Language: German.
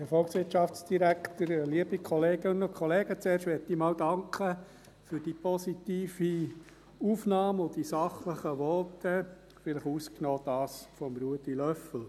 Zuerst möchte ich danken, für die positive Aufnahme und die sachlichen Voten – vielleicht ausgenommen dasjenige von Ruedi Löffel.